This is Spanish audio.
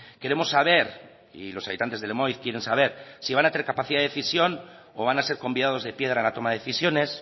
queremos saber y los habitantes de lemoiz quieren saber si van a tener capacidad de decisión o van a ser convidados de piedra en la toma de decisiones